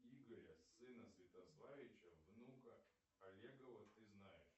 игоря сына святославича внука олегова ты знаешь